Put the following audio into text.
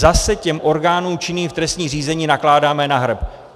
Zase těm orgánům činným v trestním řízení nakládáme na hrb!